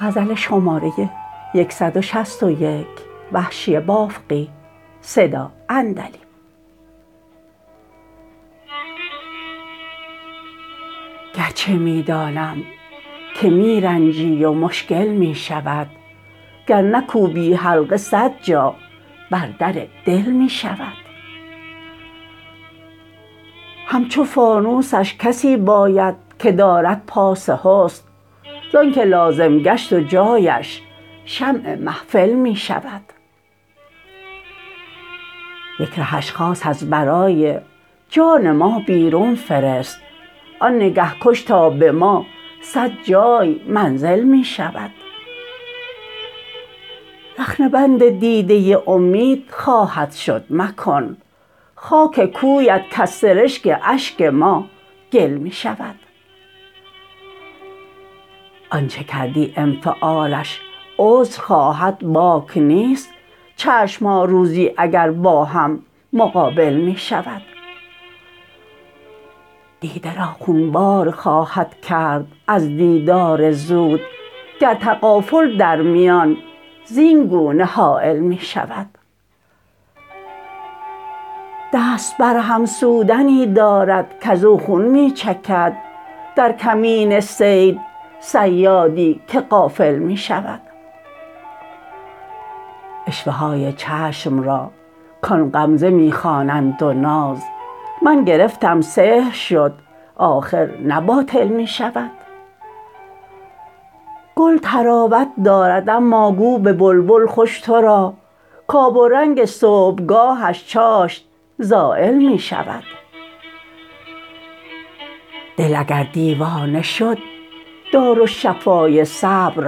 گرچه می دانم که می رنجی و مشکل می شود گر نکوبی حلقه صد جا بر در دل می شود همچو فانوسش کسی باید که دارد پاس حسن زانکه لازم گشت و جایش شمع محفل می شود یک رهش خاص از برای جان ما بیرون فرست آن نگه کش تا به ما سد جای منزل می شود رخنه بند دیده امید خواهد شد مکن خاک کویت کز سرشک اشک ما گل می شود آنچه کردی انفعالش عذر خواهد باک نیست چشمها روزی اگر با هم مقابل می شود دیده را خونبار خواهد کرد از دیدار زود گر تغافل در میان زینگونه حایل می شود دست بر هم سودنی دارد کزو خون می چکد در کمین صید صیادی که غافل می شود عشوه های چشم را کان غمزه می خوانند و ناز من گرفتم سحر شد آخر نه باطل می شود گل طراوت دارد اما گو به بلبل خوش ترا کاب و رنگ صبحگاهش چاشت زایل می شود دل اگر دیوانه شد دارالشفای صبر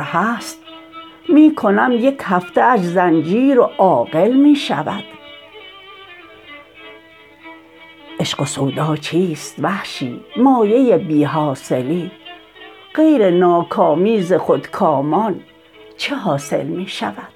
هست می کنم یک هفته اش زنجیر و عاقل می شود عشق و سودا چیست وحشی مایه بی حاصلی غیر ناکامی ز خودکامان چه حاصل می شود